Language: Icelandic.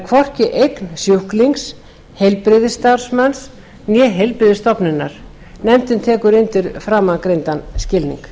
hvorki eign sjúklings heilbrigðisstarfsmanns né heilbrigðisstofnunar nefndin tekur undir framangreindan skilning